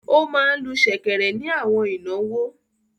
Ó máa ń lu ṣẹ̀kẹ̀rẹ̀ ni àwọn ìnáwó.